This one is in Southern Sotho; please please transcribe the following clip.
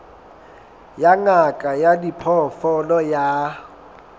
ya ngaka ya diphoofolo ya